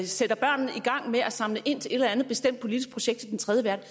sætter børnene i gang med at samle ind til et eller andet bestemt politisk projekt til den tredje verden